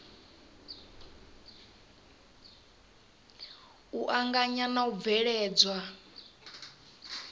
u anganya na u bveledzwa